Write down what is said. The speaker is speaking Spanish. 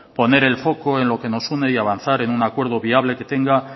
poner el foco en lo que nos une y avanzar en un acuerdo viable que tenga